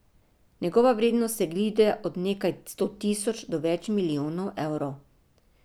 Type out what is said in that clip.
Njegova vrednost se giblje od nekaj sto tisoč do več milijonov evrov.